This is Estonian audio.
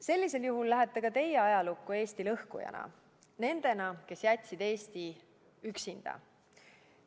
Sellisel juhul lähete ka teie ajalukku Eesti lõhkujatena, nendena, kes jätsid Eesti üksinda.